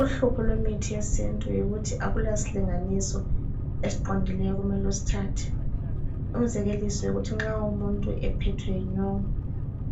Uhlupho lwemithi yesintu yikuthi akulasilinganiso esiqondileyo okumele usithathe, umzekeliso yikuthi nxa umuntu ephethwe yinyongo